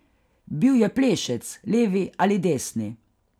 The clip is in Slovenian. Bil je plešec, levi ali desni.